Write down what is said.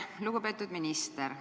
Lugupeetud minister!